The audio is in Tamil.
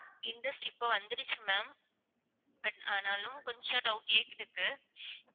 interest இப்போ வந்துடுச்சு ma'am but ஆனாலும் கொஞ்சம் doubt